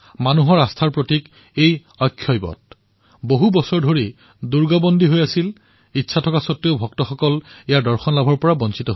জনতাৰ আস্থাৰ প্ৰতীক এই অক্ষয়বট বহু বছৰ জুৰি গুহাত বন্ধ হৈ আছিল আৰু সেইবাবে দৰ্শনাৰ্থীসকলে দৰ্শন কৰিব পৰা নাছিল